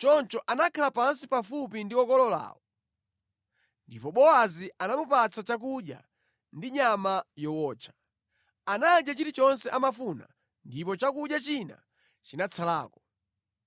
Choncho anakhala pansi pafupi ndi okololawo, ndipo Bowazi anamupatsa chakudya ndi nyama yowotcha. Anadya chilichonse amafuna ndipo chakudya china chinatsalako.